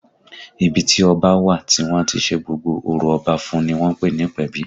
Ibi tí ọba a wà tí wọ́n á ti ṣe gbogbo orò Ọba fún un ni wọ́n ń pè ní ìpèbí